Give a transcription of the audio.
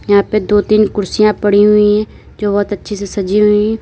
यहां पे दो तीन कुर्सियां पड़ी हुई है जो बहोत अच्छे से सजी हुई है।